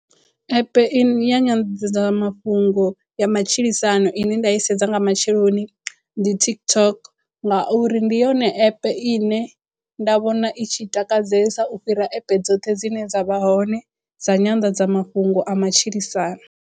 App ine ya nyanḓadzamafhungo ya matshilisano ine nda i sedza nga matsheloni ndi TikTok ngauri ndi yone app ine nda vhona i tshi takadzesa u fhira app dzoṱhe dzine dza vha hone dza nyanḓadzamafhungo a matshilisano.